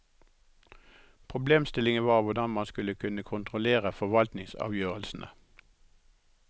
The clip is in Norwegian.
Problemstillingen var hvordan man skulle kunne kontrollere forvaltningsavgjørelsene.